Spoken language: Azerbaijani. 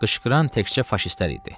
Qışqıran təkcə faşistlər idi.